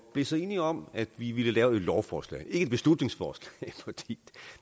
blev så enige om at vi ville lave et lovforslag et beslutningsforslag